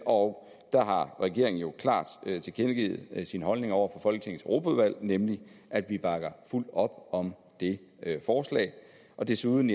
og der har regeringen jo klart tilkendegivet sin holdning over for folketingets europaudvalg nemlig at vi bakker fuldt op om det forslag desuden